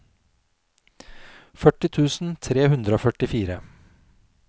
førti tusen tre hundre og førtifire